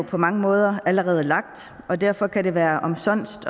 på mange måder allerede er lagt og derfor kan det være omsonst